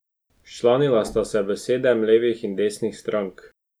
Včlanila sta se v sedem, levih in desnih, strank.